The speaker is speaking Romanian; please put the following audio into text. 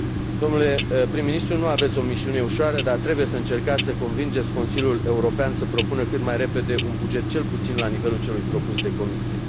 Domnule Prim ministru, nu aveți o misiune ușoară, dar trebuie să încercați să convingeți Consiliul European să propună cât mai repede un buget, cel puțin la nivelul celui propus de Comisie.